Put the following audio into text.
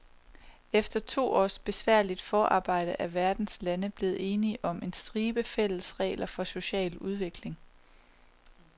Efter to års besværligt forarbejde er verdens lande blevet enige om en stribe fælles regler for social udvikling.